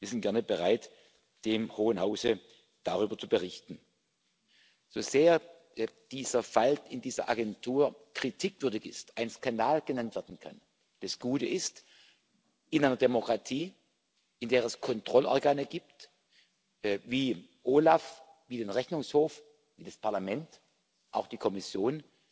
Wir sind gerne bereit, dem Hohen Hause darüber zu berichten. So sehr dieser Fall in dieser Agentur kritikwürdig ist, ein Skandal genannt werden kann das Gute ist In einer Demokratie, in der es Kontrollorgane gibt wie das OLAF, wie den Rechnungshof, wie das Parlament, auch die Kommission,